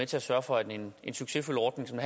til at sørge for at en succesfuld ordning som